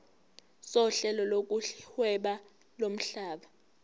sohlelo lokuhweba lomhlaba